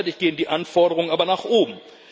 Gleichzeitig gehen die Anforderungen aber nach oben.